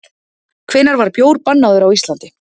Hvenær var bjór bannaður á Íslandi?